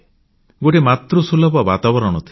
ଗୋଟିଏ ମାତୃସୁଲଭ ବାତାବରଣ ଥିଲା